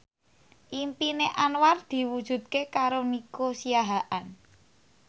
impine Anwar diwujudke karo Nico Siahaan